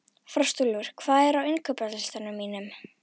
Frostúlfur, hvað er á innkaupalistanum mínum?